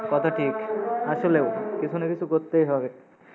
কথা ঠিক। আসলেও কিসু না কিসু করতেই হবে।